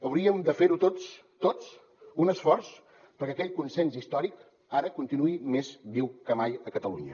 hauríem de fer tots tots un esforç perquè aquell consens històric ara continuï més viu que mai a catalunya